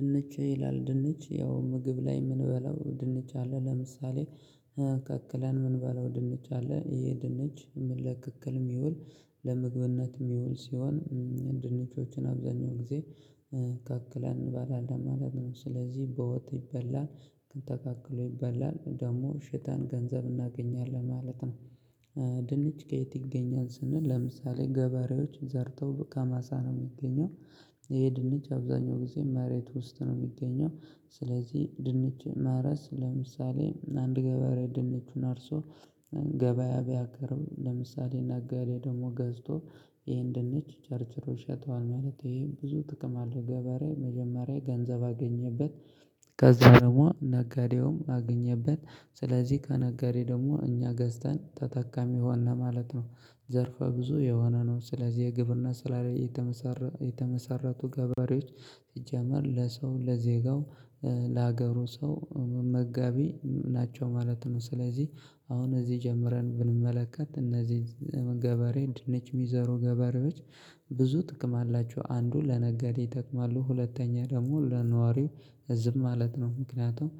ድንች ይላል ድንች ያው ምግብ ላይ እምንበላው ድንች አለ ለምሳሌ ቀቅለን እምንበላው ድንች አለ ይሄ ድንች ለቅቅልም እሚውል ለምግብነት እሚውል ሲሆን ድንቾችን አብዛኛው ጊዜ ቀቅለን እንበላለን ማለት ነው ስለዚህ በወጥ ይበላል ተቀቅሎ ይበላል ደግሞ ሽጠን ገንዘብ እናገኛለን ማለት ነው። ድንች ከየት ይገኛል ስንል ለምሳሌ ገበሬዎች ዘርተው ከማሳ ነው እሚገኘው። ይሄ ድንች አብዛኛው ጊዜ መሬት ውስጥ ነው እሚገኘው ስለዚህ ድንች ማረስ ለምሳሌ አንድ ገበሬ ድንቹን አርሶ ገበያ ቢያቀርብ ለምሳሌ ነጋዴ ደግሞ ገዝቶ ይሄን ደግሞ ቸርችሮ ይሸጠዋል ማለት ይሄ ብዙ ጥቅም አለው። ገበሬ መጀመሪያ ገንዘብ አገኘበት ከዛ ደግሞ ነጋዴውም አገኘበት ስለዚህ ከነጋዴ ደግሞ እኛ ገዝተን ተጠቃሚ ሆነ ማለት ነው። ዘርፈ ብዙ የሆነ ነው ስለዚህ የግብርና ስራ ላይ የተመሰረ የተመሰረቱ ገበሬዎች። ሲጀመር ለሰው ለዜጋው ለሀገሩ ሰው መጋቢ ናቸው ማለት ነው። ስለዚህ አሁን እዚህ ጀምረን ብንመለከት እነዚህ ገበሬ ድንች እሚዘሩ ገበሬዎች ብዙ ጥቅም አላቸው። አንዱ ለነጋዴ ይጠቅማሉ ሁለተኛ ደግሞ ለነዋሪው ህዝብ ማለት ነው። ምክንያቱም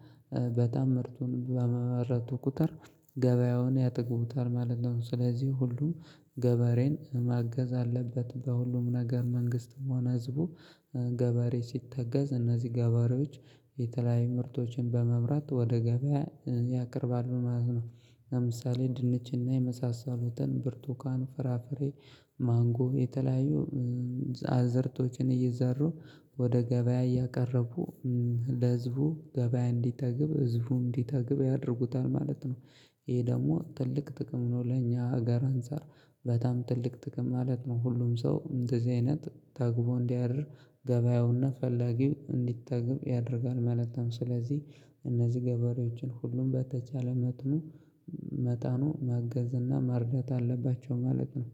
በጣም ምርቱን በማረቱ ቁጥር ገበያውን ያጠግቡታል ማለት ነው። ስለዚህ ሁሉ ገበሬን ማገዝ አለበት። በሁሉም ነገር መንግስትም ሆነ ህዝቡ ገበሬ ሲተገዝ እነዚህ ገበሬዎች የተለያዩ ምርቶችን በማምራት ወደ ገበያ ያቀርባሉ ማለት ነው። ለምሳሌ ድንች እና የመሳሰሉትን ብርቱካን ፍራፍሬ ማንጎ የተለያዩ አዝእርቶችን እየዘሩ ወደ ገበያ እያቀረቡ ለህዝቡ ገበያ እንዲጠግብ ህዝቡ እንዲጠግብ ያደርጉታል ማለት ነው። ይህ ደግሞ ትልቅ ጥቅም ነው። ለኛ ሀገር አንፃር በጣም ትልቅ ጥቅም ማለት ነው። ሁሉም ሰው እንደዚህ አይነት ጠግቦ እንዲያድር ገበያውና ፈላጊው እንዲጠግብ ያደርጋል ማለት ነው። ስለዚህ እነዚህ ገበሬዎችን ሁሉም በተቻለ መጥኑ መጠኑ ማገዝ እና መርዳት አለባቸው ማለት ነው